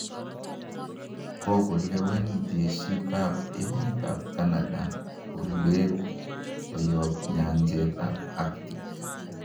Kogolewen jesiit ab emet ab Canada boleet koyoob nyenjeet ab Arctic.